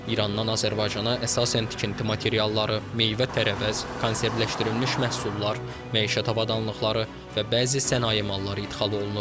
İrandan Azərbaycana əsasən tikinti materialları, meyvə-tərəvəz, konservləşdirilmiş məhsullar, məişət avadanlıqları və bəzi sənaye malları idxal olunur.